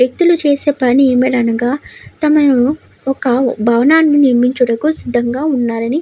వ్యక్తులు చేసే పని ఏమి అనగా తమ ఒక భావనని నిర్మించేందుకు సిద్ధం గా ఉన్నారు అని --